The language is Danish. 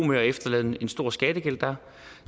med og efterlade en stor skattegæld der